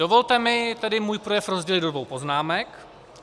Dovolte mi tedy svůj projev rozdělit do dvou poznámek.